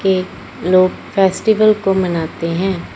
ये लोग फेस्टिवल को मनाते हैं।